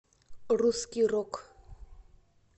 русский рок